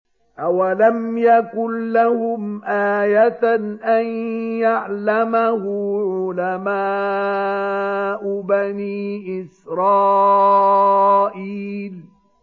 أَوَلَمْ يَكُن لَّهُمْ آيَةً أَن يَعْلَمَهُ عُلَمَاءُ بَنِي إِسْرَائِيلَ